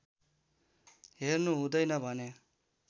हेर्नु हुँदैछ भने